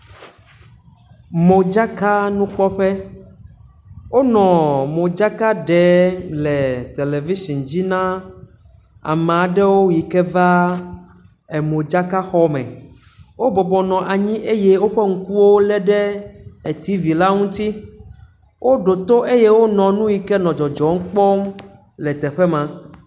Modzakanukpɔƒe, wonɔ modzakaɖe le television dzi na ama aɖewo yi ke va modzakaɖexɔme eye woƒe ŋkuwo lé ɖe etivi la ŋuti. Wo ɖo to eye wonɔ nu yi ke le dzɔdzɔm kpɔm le teƒe ma.